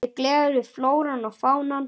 Mig gleður flóran og fánan.